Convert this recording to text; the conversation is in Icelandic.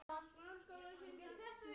Hvað kölluðu þeir mig?